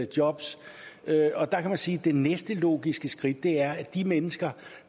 jobs og der kan man sige at det næste logiske skridt er at de mennesker